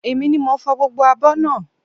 Èmi ni mo fò gbogbo abọ́ náà